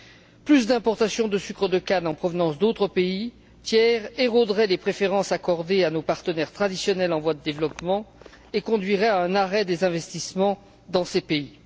Un accroissement des importations de sucre de canne en provenance d'autres pays tiers éroderait les préférences accordées à nos partenaires traditionnels en voie de développement et conduirait à un arrêt des investissements dans ces pays.